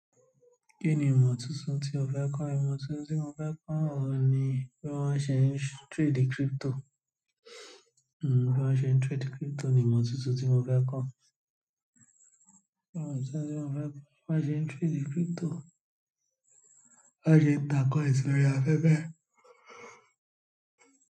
Kíni ìmọ̀ tuntun tí ó fẹ́ kọ́? Ìmọ̀ tuntun tí mo fẹ́ kọ́ ohun ni bí wọ́n ṣe ń trade crypto bí wọ́n ṣe ń trade crypto ni ìmọ̀ tuntun tí mo fẹ́ kọ́. Bí wọ́n ṣe ń trade crypto, bí wọ́n ṣe ń gbà kọ́ sòrí afẹ́fẹ́.